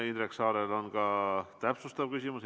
Indrek Saarel on ka täpsustav küsimus.